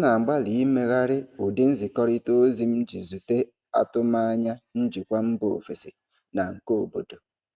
na-agbalị imeghari ụdị nzikọrịta ozi m iji zute atụmanya njikwa mba ofesi na nke obodo.